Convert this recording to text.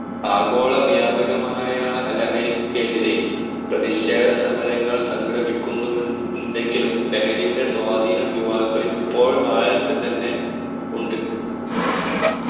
ആഗോള വ്യാപകമായാ ലഹരിക്കെതിരെ പ്രതിഷേധസമരങ്ങൾ സംഘടിപിക്നിണ്ടെങ്കിലും ലഹരിയുടെ സ്വാധിനം യുവാക്കിളിൽ ഇപ്പോൾ ആഴത്തിൽ തന്നെ ഉണ്ട്